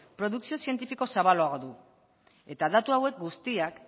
produkzio zientifiko zabalagoa du eta datu hauek guztiak